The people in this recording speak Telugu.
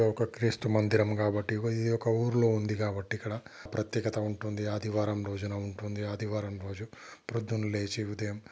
ఒక క్రీస్తు మందిరం కాబట్టి ఇది ఒక ఊరిలో ఉంది కాబట్టి ఇక్కడ ప్రత్యేకత ఉంటుంది. ఆదివారం రోజున ఉంటుంది. ఆదివారం రోజు పొద్దున లేచి ఉదయం --